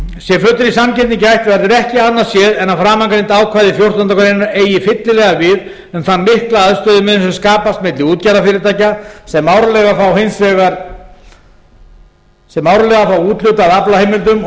sé fullrar sanngirni gætt verður ekki annað séð en að framangreind ákvæði fjórtándu greinar eigi fyllilega við um þann mikla aðstöðumun sem skapast milli útgerðarfyrirtækja sem árlega fá úthlutað aflaheimildum og